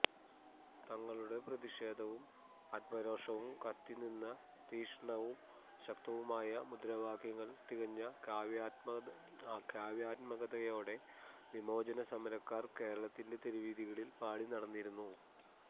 തങ്ങളുടെ പ്രതിഷേധവും ആത്മരോഷവും കത്തിനിന്ന തീഷ്ണവും ശക്തവുമായ മുദ്രാവാക്യങ്ങള് തികഞ്ഞ കാവ്യാത്മകതയോടെ വിമോചന സമരക്കാര് കേരളത്തിന്റെ തെരുവീഥികളില് പാടി നടന്നിരുന്നു